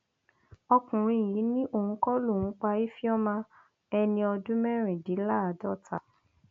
ọkùnrin yìí ni òun kọ lòun pa ifeoma ẹni ọdún mẹrìndínláàádọta